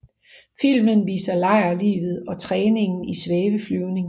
Filmen viser lejrlivet og træningen i svæveflyvning